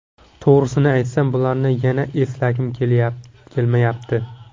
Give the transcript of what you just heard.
To‘g‘risini aytsam bularni yana eslagim kelmayapti.